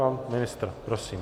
Pan ministr, prosím.